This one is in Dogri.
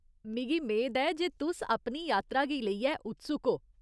मिगी मेद ऐ जे तुस अपनी यात्रा गी लेइयै उत्सुक ओ।